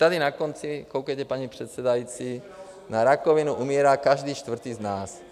Tady na konci, koukejte, paní předsedající, na rakovinu umírá každý čtvrtý z nás.